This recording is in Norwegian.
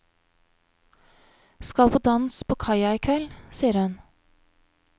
Skal på dans på kaia i kveld, sier hun.